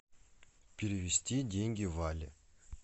перевести деньги вале